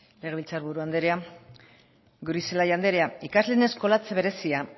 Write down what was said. legebiltzar buru anderea goirizelaia anderea ikasleen eskolatze berezia